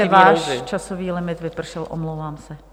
Pane poslanče, váš časový limit vypršel, omlouvám se.